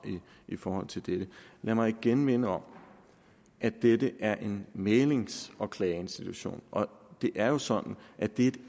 i forhold til dette lad mig igen minde om at dette er en mæglings og klageinstitution og det er jo sådan at det er